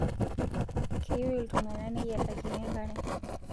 Keyieu iltung'ana neyietakini enkare